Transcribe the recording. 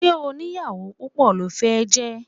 Ṣé onìyàwó púpọ̀ lo fẹ́ jẹ́?